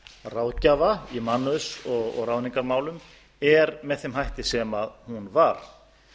ráðgjafa í mannauðs og ráðningarmálum er með þeim hætti sem hún var